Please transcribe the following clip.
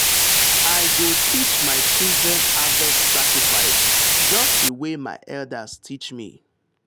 i go teach my children harvest sacrifice just the way my elders teach me.